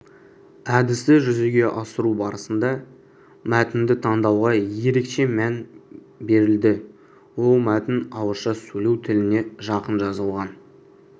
әдісті жүзеге асыру барысында мәтінді таңдауға ерекше мән берілді ол мәтін ауызша сөйлеу тіліне жақын жазылған